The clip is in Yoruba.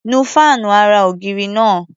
Nu fáànù ara-ògiri náá̀.